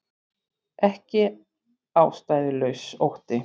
Ekki ástæðulaus ótti